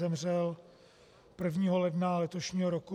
Zemřel 1. ledna letošního roku.